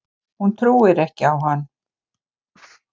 Hún trúir ekki á hann.